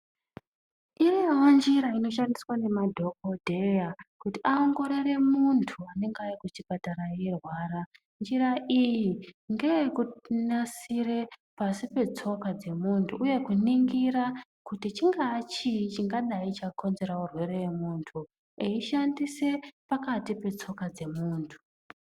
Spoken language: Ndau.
Iyona njira inoshandiswa nemadhokodheya kuti awongorore muntu anenge ayenda kuchipatara eirwara, njira iyi ngeyekunasire pasi petsoka dzemuntu uye kuningira kuti chinga chii chinga chakonzera chirwere chemuntu, eyishandise pakati petsoka dzemuntu.